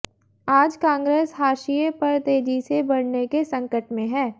आज कांग्रेस हाशिए पर तेजी से बढऩे के संकट में है